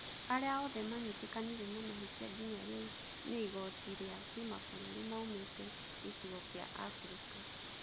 Arĩa othe manyitĩkanire na mahĩtia nginya rĩu nĩ igooti rĩa Kimabũrũri maumĩte gĩcigo kĩa Abirika.